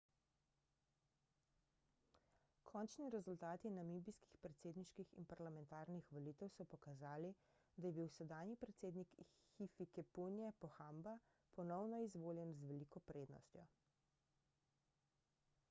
končni rezultati namibijskih predsedniških in parlamentarnih volitev so pokazali da je bil sedanji predsednik hifikepunye pohamba ponovno izvoljen z veliko prednostjo